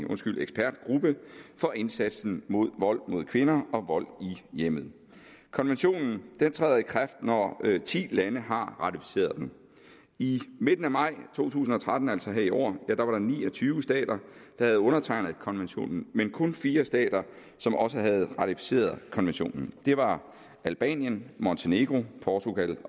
ekspertgruppe for indsatsen mod vold mod kvinder og vold i hjemmet konventionen træder i kraft når ti lande har ratificeret den i midten af maj to tusind og tretten altså her i år var der ni og tyve stater der havde undertegnet konventionen men kun fire stater som også havde ratificeret konventionen det var albanien montenegro portugal